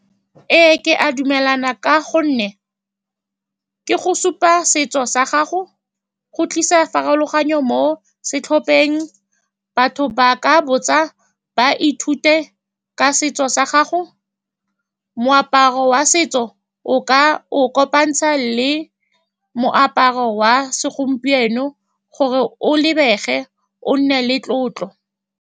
Ee, ke a dumelana ka gonne ke go supa setso sa gago, go tlisa farologano mo setlhopheng, batho ba ka botsa, ba ithute ka setso sa gago. Moaparo wa setso o ka o kopantsha le moaparo wa segompieno gore o lebege o nne le tlotlo.